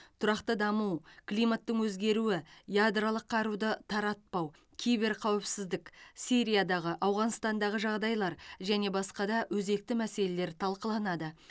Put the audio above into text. тұрақты даму климаттың өзгеруі ядролық қаруды таратпау киберқауіпсіздік сириядағы ауғанстандағы жағдайлар және басқа да өзекті мәселелер талқыланады